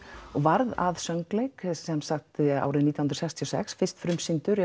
og varð að söngleik sem sagt árið nítján hundruð sextíu og sex fyrst frumsýndur